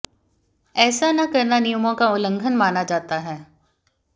एेसा न करना नियमाें का उल्लंघन माना जाता है